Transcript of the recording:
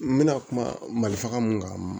N bɛna kuma malifaga mun kan